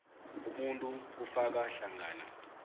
umuntu kufaka hlangana